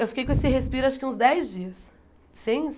Eu fiquei com esse respiro acho que uns dez dias. Sem